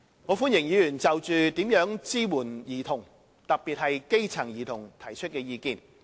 我歡迎議員就如何支援兒童——特別是基層兒童——提出意見。